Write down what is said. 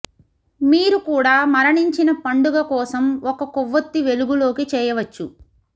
మీరు కూడా మరణించిన పండుగ కోసం ఒక కొవ్వొత్తి వెలుగులోకి చేయవచ్చు